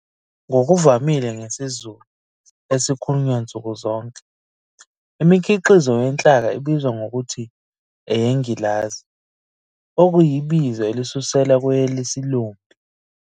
Ngokuvamile ngesiZulu esikhulunywa nsukuzonke, imikhiqizo yenhlaka ibizwa ngokuthi 'eyengilazi' okuyibizo elisuselwa kwelesilumbi.